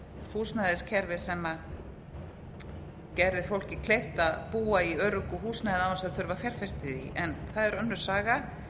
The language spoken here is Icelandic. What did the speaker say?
húsnæðiskerfi sem gerði fólki kleift að búa í öruggu húsnæði án þess að þurfa að fjárfesta í því en það er önnur saga ég